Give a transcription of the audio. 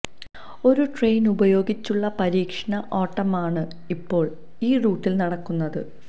ഒരു ട്രെയിന് ഉപയോഗിച്ചുള്ള പരീക്ഷണ ഓട്ടമാണ് ഇപ്പോള് ഈ റൂട്ടില് നടക്കുന്നത്